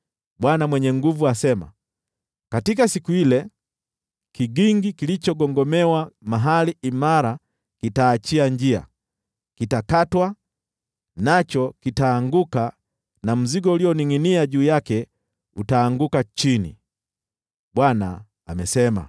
Bwana Mwenye Nguvu Zote asema, “Katika siku ile, kigingi kilichogongomewa mahali imara kitaachia njia. Kitakatwa, nacho kitaanguka na mzigo ulioningʼinia juu yake utaanguka chini.” Bwana amesema.